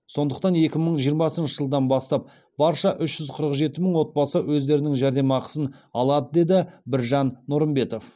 сондықтан екі мың жиырмасыншы жылдан бастап барша үш жүз қырық жеті мың отбасы өздерінің жәрдемақысын алады деді біржан нұрымбетов